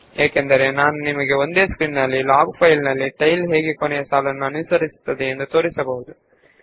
ಇದರಿಂದಾಗಿ ನಾನು ಒಂದೇ ಸ್ಕ್ರೀನ್ ನಲ್ಲಿ ಟೈಲ್ ಎಂಬುದು ಹೇಗೆ ಲಾಗ್ ಫೈಲ್ ನ ಕೊನೆಯ ಸಾಲನ್ನು ತಲುಪುತ್ತದೆ ಎಂಬುದನ್ನು ತೋರಿಸಬಹುದು